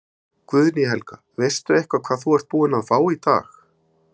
Guðný Helga: Veistu eitthvað hvað þú ert búin að fá í dag?